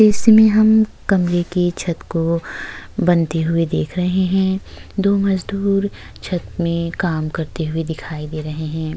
इसमें हम कमरे के छत को बनते हुए देख रहें हैं। दो मजदूर छत में काम करते हुए दिखाई दे रहें हैं।